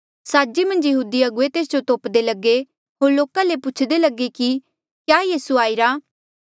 साजे मन्झ यहूदी अगुवे तेस जो तोप्दे लगे होर लोका ले पुछदे लगे कि क्या यीसू आईरा